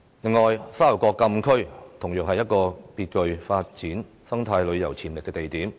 此外，沙頭角禁區同樣是極具發展生態旅遊潛力的地點。